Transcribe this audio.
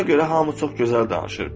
Ona görə hamı çox gözəl danışır.